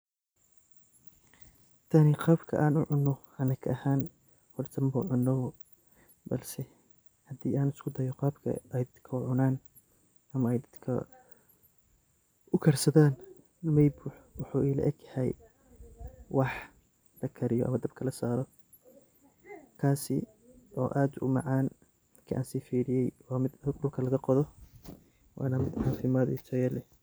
Taani qaabka an u cuunoh anaga ahaan, horta marka cuunoh balsi hadi isudaah Qabka u cunanan amah dadka u karsathan waxuvela rgyahayhay wx lakariyoh oo dhabkas lasaroh kasi oo aad u macan marka si firiye wa meet dula lagaqothoh Wana cafimad Taya leeh